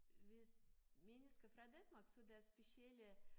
Hvis mennesker fra Danmark så deres specielle